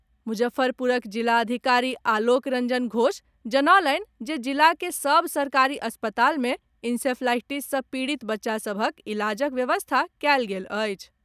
मुजफ्फरपुरक जिलाधिकारी आलोक रंजन घोष जनौलनि जे जिला के सभ सरकारी अस्पताल मे इंसेफ्लाईटिस सॅ पीड़ित बच्चा सभक इलाजक व्यवस्था कएल गेल अछि।